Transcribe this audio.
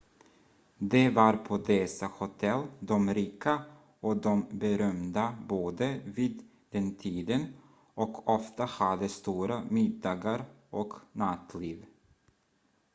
det var på dessa hotell de rika och de berömda bodde vid den tiden och ofta hade stora middagar och nattliv